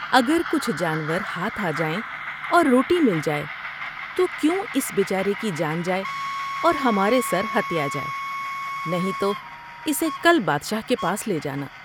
اگر کچھ جانور ہاتھ آ جائیں اور روٹی مل جائے تو کیوں اس بے چارے کی جان جاۓ اور ہمارے سر ہتیا جائے نہیں تو اسے کل بادشاہ کے پاس لے جانا ۔